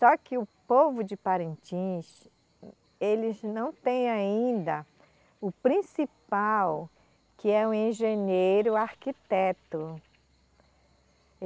Só que o povo de Parintins, eles não têm ainda o principal, que é um engenheiro, o arquiteto.